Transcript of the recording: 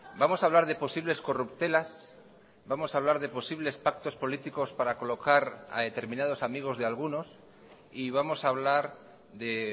vamos a hablar de posibles corruptelas vamos a hablar de posibles pactos políticos para colocar a determinados amigos de algunos y vamos a hablar de